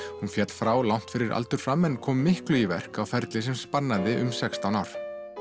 hún féll frá langt fyrir aldur fram en kom miklu í verk á ferli sem spannaði um sextán ár